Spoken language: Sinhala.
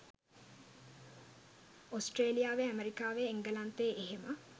ඔස්ට්‍රේලියාවේ ඇමරිකාවේ එංගලන්තයේ එහෙම